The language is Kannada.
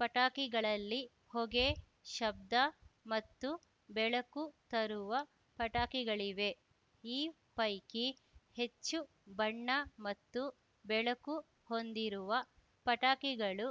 ಪಟಾಕಿಗಳಲ್ಲಿ ಹೊಗೆ ಶಬ್ದ ಮತ್ತು ಬೆಳಕು ತರುವ ಪಟಾಕಿಗಳಿವೆ ಈ ಪೈಕಿ ಹೆಚ್ಚು ಬಣ್ಣ ಮತ್ತು ಬೆಳಕು ಹೊಂದಿರುವ ಪಟಾಕಿಗಳು